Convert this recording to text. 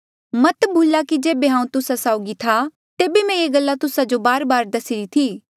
मत भुला कि जेबे हांऊँ तुस्सा साउगी था तेबे मैं ये गल्ला तुस्सा जो बारबार दसीरी थी